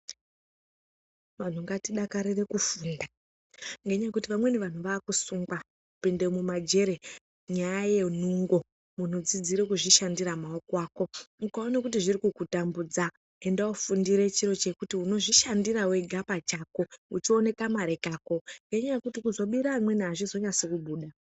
Vantu ngatidakarire kufunda ngenyaya yekuti vamweni vantu vaakusungwa kupinda mumajere ngenungo. Muntu ngaadzidze kuzvishandira ngemaoko ake. Ukaona zvichikutambudza enda woofundira chiro chekuti unozvishandira pachako uchiona kamari kako ngenyaa yekuti kuzobira vamweni hazvizonasi kubuda.